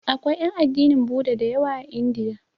Akwai ƴan addinin Buda da yawa a Indiya.